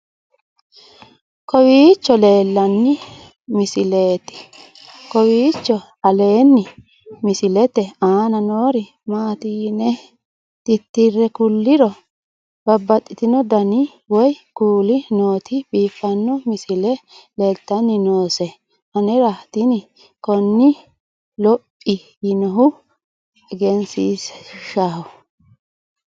kowiicho aleenni misilete aana noori maati yine titire kulliro babaxino dani woy kuuli nooti biiffanno misile leeltanni nooe anera tino kuni luphi yiinohu egensiishshaho